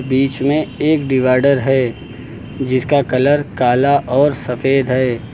बीच में एक डिवाइडर है जिसका कलर काला और सफेद है।